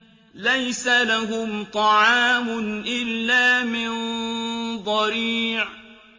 لَّيْسَ لَهُمْ طَعَامٌ إِلَّا مِن ضَرِيعٍ